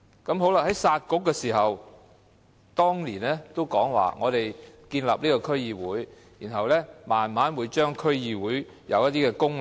在"殺局"的時候，孫明揚在1999年說，在建立區議會後，會慢慢深化、強化區議會的功能。